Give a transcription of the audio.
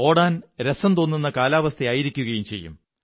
ഓടാൻ രസംതോന്നുന്ന കാലാവസ്ഥയായിരിക്കുകയും ചെയ്യും